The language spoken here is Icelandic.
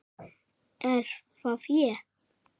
Er það ÉG??